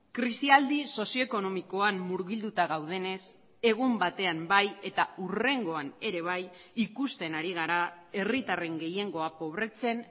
krisialdi sozioekonomikoan murgilduta gaudenez egun batean bai eta hurrengoan ere bai ikusten ari gara herritarren gehiengoa pobretzen